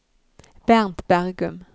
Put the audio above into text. Bernt Bergum